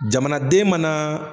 Jamanaden mana